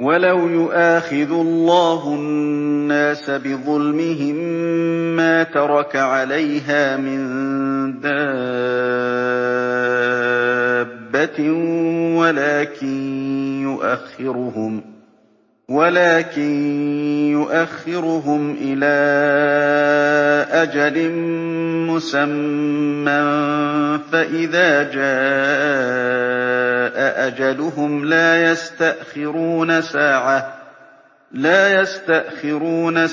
وَلَوْ يُؤَاخِذُ اللَّهُ النَّاسَ بِظُلْمِهِم مَّا تَرَكَ عَلَيْهَا مِن دَابَّةٍ وَلَٰكِن يُؤَخِّرُهُمْ إِلَىٰ أَجَلٍ مُّسَمًّى ۖ فَإِذَا جَاءَ أَجَلُهُمْ لَا يَسْتَأْخِرُونَ سَاعَةً ۖ